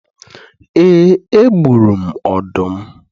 Ee, egburu m ọdụm